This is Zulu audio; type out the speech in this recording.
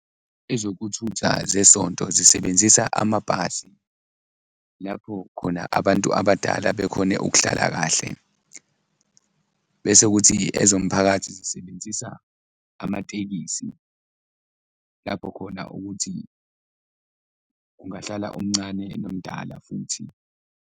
Ezokuthutha zesonto zisebenzisa amabhasi lapho khona abantu abadala bekhone ukuhlala kahle bese kuthi ezomphakathi zisebenzisa amatekisi lapho khona ukuthi kungahlala omncane nomdala futhi.